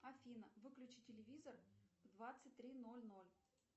афина выключи телевизор в двадцать три ноль ноль